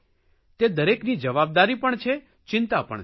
તે દરેકની જવાબદારી પણ છે ચિંતા પણ છે